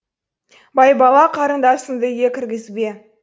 байбала қарындасыңды үйге кіргізбе